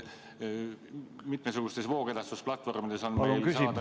Mitmesugustes voogedastusplatvormides on meil saada ka raamatuid ...